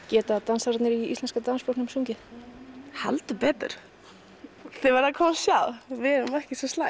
geta dansararnir í Íslenska dansflokknum sungið heldur betur þið verðið að koma og sjá við erum ekki svo slæm